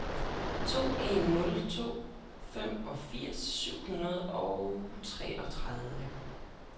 to en nul to femogfirs syv hundrede og treogtredive